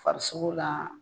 Farisoko la